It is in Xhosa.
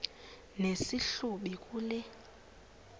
nesi hlubi kule